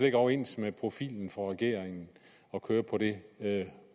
ikke overens med profilen for regeringen at køre på det det